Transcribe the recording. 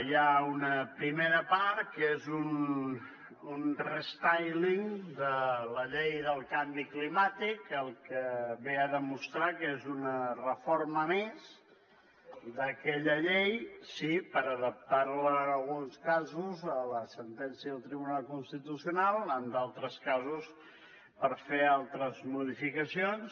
hi ha una primera part que és un restyling de la llei del canvi climàtic que el que ve a demostrar que és una reforma més d’aquella llei sí per adaptar la en alguns casos a la sentència del tribunal constitucional en altres casos per fer altres modificacions